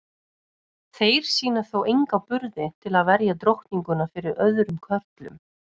Þeir sýna þó enga burði til að verja drottninguna fyrir öðrum körlum.